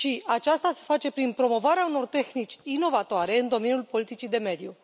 Aceasta se face prin promovarea unor tehnici inovatoare în domeniul politicii de mediu.